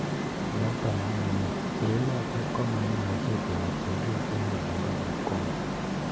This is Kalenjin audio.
Naton amune ,yeinotok ko maimuche koek chekuk en olin bo likoni